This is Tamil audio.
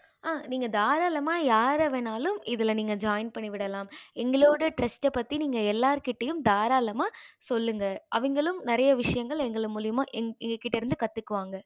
ஆஹ் நீங்க தாரளாம யார வேன்னுனாலும் இதுல join பண்ணிவிடலாம் எங்களோட trast பத்தி நீங்க எல்லார் கிட்டயும் தாரளாம சொல்லுங்க அவங்க நிறைய விஷயங்கள் எங்க மூலையுமா எங்க கிட்ட இருந்து கத்துக்குவாங்க